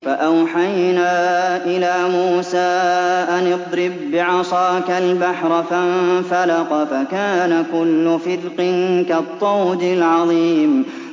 فَأَوْحَيْنَا إِلَىٰ مُوسَىٰ أَنِ اضْرِب بِّعَصَاكَ الْبَحْرَ ۖ فَانفَلَقَ فَكَانَ كُلُّ فِرْقٍ كَالطَّوْدِ الْعَظِيمِ